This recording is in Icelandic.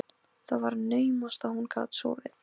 Það var naumast að hún gat sofið.